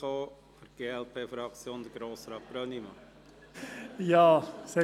Für die Fraktion glp: Grossrat Brönnimann.